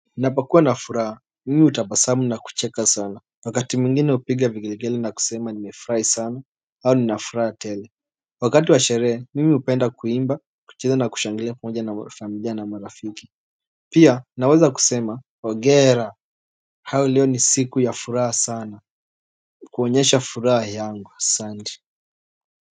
Ninapokuwa na furaha mimi hutabasamu na kucheka sana wakati mwingine hupiga vigelegele na kusema nimefurahi sana au nina furaha tele Wakati wa sherehe mimi hupenda kuimba kucheza na kushangilia pamoja na familia na marafiki pia nawaza kusema hongera au leo ni siku ya furaha sana kuonyesha furaha yangu asanti.